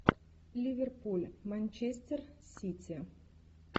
ливерпуль манчестер сити